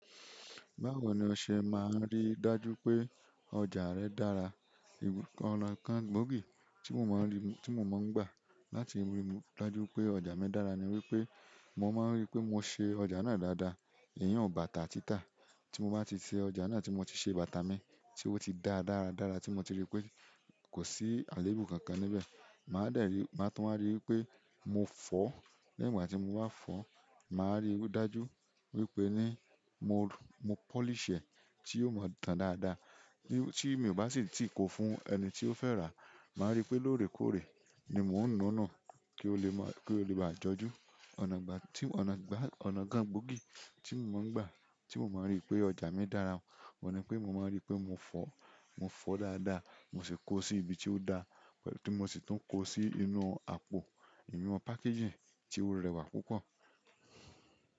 Báwo ni ọ ṣe máa ń rí dájú pé ọ̀jà rẹ dára? Ọ̀nà kan gbóògì tí mo máa ń gbà láti ríi dájú pé ọjà mi dára ni wípé mo maa n ri pe mo se ọjà na dáadáa, iyen bàtà tita ti mo ba ti se ọjà na, ti mo ti se bàtà mi, ti o ti daa dáradára, ma tun wa ri ipe mofo. Ní ìgbà tí mo bá fọ̀, màá rí o dájú wípé ní mo polish ẹ́ tí yóò máa tán dáadáa. Tí mi ò bá sì tí kò fún ẹni tí ó fẹ́ rà á, màá rí pé lóòrèkóòrè ni mò ńu nu kí ó lè báa jọjú. Ọ̀nà kan gbóògì tí mo máa ń gbà tí mo máa ń rí pé ọjà mi dára, òun ni pé mo máa ń rí pé mo fọ̀, mo fọ̀ dáadáa, mo sì kó o sí ibi tí ó da, pé mo sì tún kó o sí inú àpò, ìnu packaging tí ó rẹwà púpọ̀.